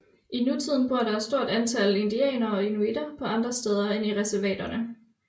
I nutiden bor der et stort antal indianere og inuitter på andre steder end i reservaterne